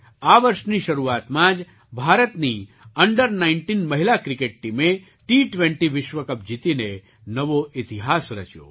આ વર્ષની શરૂઆતમાં જ ભારતની અંડર૧૯ મહિલા ક્રિકેટ ટીમે ટી20 વિશ્વ કપ જીતીને નવો ઇતિહાસ રચ્યો